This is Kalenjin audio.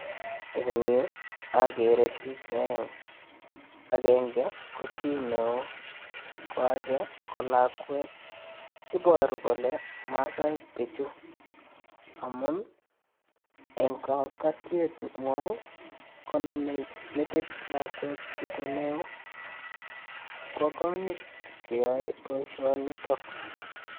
Eng yu agere biich che aeng. Agenge ko chi neo ko age ko lakwet. Iboru kole maasaek biichu amun eng kokotiengwai koname metit lakwet, chito neo. Bo konyit koyoe boisionitok.